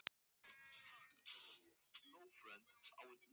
Fólkið þagði pínlega og horfði á mig.